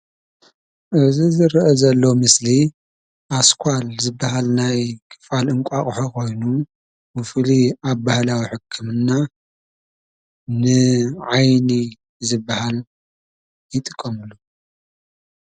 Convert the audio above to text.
እዚ ዝርአ ዘሎ ምስሊ ኣስኳል ዝበሃል ናይ ክፋል እንቋቊሖ ኾይኑ ብፍሉይ ኣብ ባህላዊ ሕክምና ንዓይኒ ዝበሃል ይጥቀምሉ።